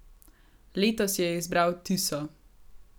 Letos je izbral tiso.